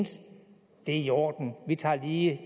at det er i orden lige at